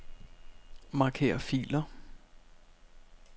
Marker filer.